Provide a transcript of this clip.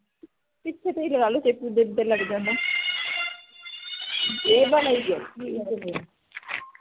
ਪਿੱਛੇ ਤੇ ਹੀ ਲਗਾ ਲਓ ਚੇਪੀ ਲੱਗ ਜਾਣਾ